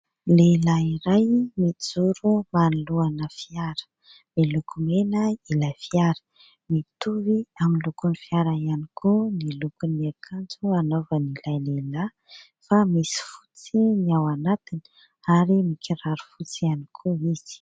Lehilahy iray mijoro manoloana fiara. Miloko mena ilay fiara. Mitovy amin'ny lokon'ny fiara ihany koa ny lokon'ny akanjo anaovan'ilay lehilahy fa misy fotsy ny ao anatiny ary mikiraro fotsy ihany koa izy.